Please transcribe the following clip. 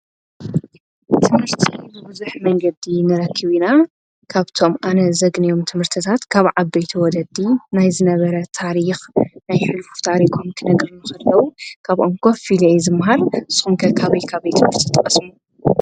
ትምርት ብዙኅ መንገዲ ንረክበ ኢና ካብቶም ኣነ ዘግንዮም ትምህርትታት ካብ ዓቤቲ ወለዲ ናይ ዝነበረ ታሪኽ ናይ ሒሉፉ ታሪኾም ክነግርኑሰለዉ ካብ ኮፍ ኢለ የ ዝምሃር ጹምከ ካብይ ካቤይ ትምርቲ ተቀስሙ?